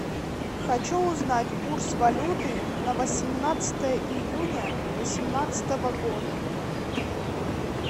хочу узнать курс валюты на восемнадцатое июня восемнадцатого года